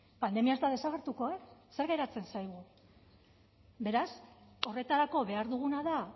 pandemia ez da desagertuko e zer geratzen zaigu beraz horretarako behar duguna da